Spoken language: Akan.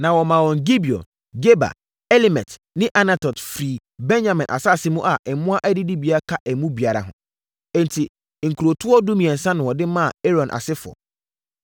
Na wɔmaa wɔn Gibeon, Geba, Alemet ne Anatot firii Benyamin asase mu a mmoa adidibea ka emu biara ho. Enti, nkurotoɔ dumiɛnsa na wɔde maa Aaron asefoɔ.